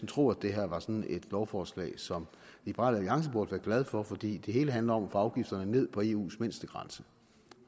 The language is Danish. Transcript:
tro at det her var sådan et lovforslag som liberal alliance burde glad for fordi det hele handler om at få afgifterne ned på eus mindstegrænse